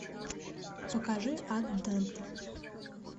покажи ад данте